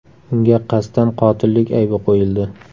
Unga qasddan qotillik aybi qo‘yildi.